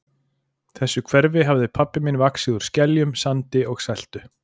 þessu hverfi hafði pabbi minn vaxið úr skeljum, sandi og seltu.